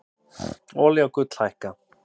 Olía og gull hækka